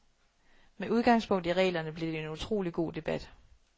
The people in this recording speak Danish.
Med udgangspunkt i reglerne blev det en utrolig god debat.